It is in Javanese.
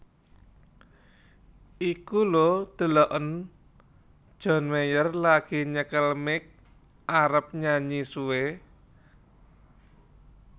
Iku lho deloken John Mayer lagi nyekel mic arep nyanyi suwe